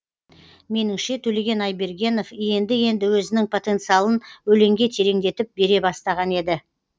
меніңше төлеген айбергенов енді енді өзінің потенциалын өлеңге тереңдетіп бере бастаған еді